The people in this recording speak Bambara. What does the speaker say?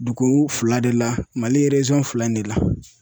Dugu fila de la mali fila in de la.